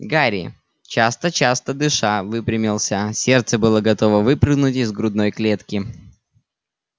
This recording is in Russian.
гарри часто-часто дыша выпрямился сердце было готово выпрыгнуть из грудной клетки